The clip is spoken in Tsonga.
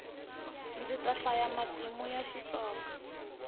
ndzi ta hlaya matimu ya xitsonga